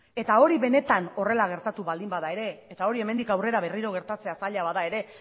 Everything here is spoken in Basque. eta hori benetan horrela gertatu baldin bada ere eta hori hemendik aurrera berriro gertatzea zaila bada ere